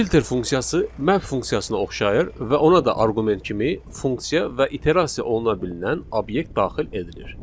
Filter funksiyası map funksiyasına oxşayır və ona da arqument kimi funksiya və iterasiya oluna bilinən obyekt daxil edilir.